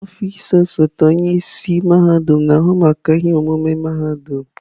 Ọfịs osote onye isi mahadum na-ahụ maka ihe omume mahadum.